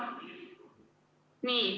Nii.